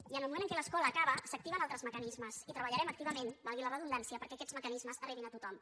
i en el moment en què l’escola acaba s’activen altres mecanismes i treballarem activament valgui la redundància perquè aquests mecanismes arribin a tothom